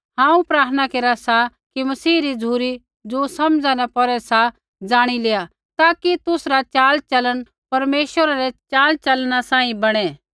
हांऊँ प्रार्थना केरा सा कि मसीह री झ़ुरी ज़ो समझा न पौरे सा जाणी लेआ ताकि तुसरा चाल चलन परमेश्वरा रै चाल चलना सांही बणै